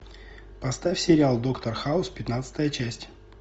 поставь сериал доктор хаус пятнадцатая часть